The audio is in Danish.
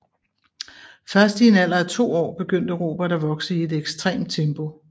Først i en alder af to år begyndte Robert at vokse i et ekstremt tempo